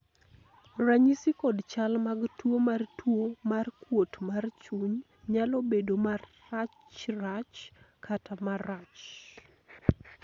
ranyisi kod chal mag tuo mar tuo mar kuot mar chuny nyalo bedo marachrach kata marach